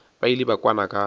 ba ile ba kwana ka